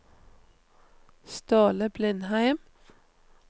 Ståle Blindheim